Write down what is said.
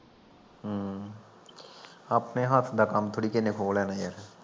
ਹਮ, ਆਪਣੇ ਹੱਥ ਦਾ ਕੰਮ ਥੋੜੀ ਕਿਸੇ ਨੇ ਖੋ ਲੈਣਾ ਯਰ